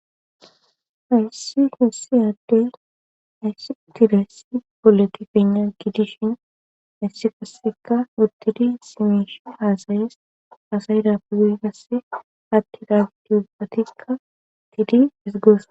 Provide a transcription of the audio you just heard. hayssi hassi addey ayssi tilayssi boleti fenna giidishin haysssi qasseka udtidi simesh haasayes haasayida pugasse atti raagdi ubatika tiidi es gosa